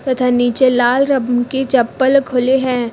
तथा नीचे लाल रंग की चप्पल खुले हैं।